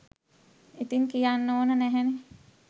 ඉතින් කියන්න ඕන නැහැනෙ.